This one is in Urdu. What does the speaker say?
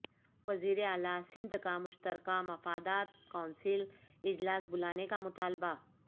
وزیر اعلی سندھ کا مشترکہ مفادات کونسل اجلاس بلانے کا مطالبہ